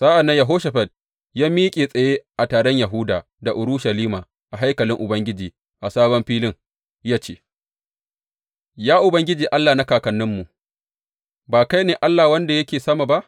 Sa’an nan Yehoshafat ya miƙe tsaye a taron Yahuda da Urushalima a haikalin Ubangiji a sabon filin ya ce, Ya Ubangiji Allah na kakanninmu, ba kai ne Allah wanda yake sama ba?